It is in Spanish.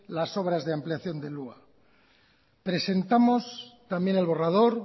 las obras de ampliación del hua presentamos también el borrador